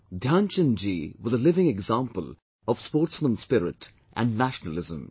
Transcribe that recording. Dhyan Chand ji was a living example of sportsman spirit and nationalism